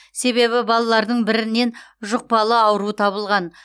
себебі балалардың бірінен жұқпалы ауру табылған